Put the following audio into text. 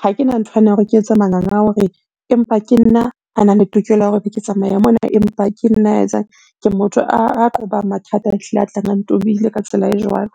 Ha kena nthwane ya hore ke etse manganga a hore, empa ke nna a nang le tokelo ya hore ke tsamaya mona, empa ke nna ya etsang. Ke motho a qobang mathata ehlile a tlang a ntobile ka tsela e jwalo.